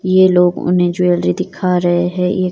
ये लोग उन्हें ज्वेलरी दिखा रहे है ये--